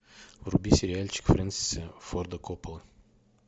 вруби сериальчик фрэнсиса форда коппола